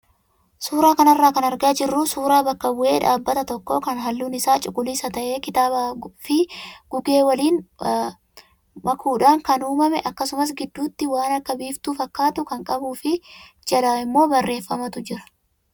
Suuraa kanarraa kan argaa jirru suuraa bakka bu'ee dhaabbata tokkoo kan halluun isaa cuquliisa ta'ee kitaabaa fi gugee waliin makuudhaan kan uumame akkasuma gidduutti waan akka biiftuu fakkaatu kan qabuu fi jala immoo barreeffamatu jira.